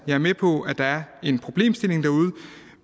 jeg er med på at der er en problemstilling derude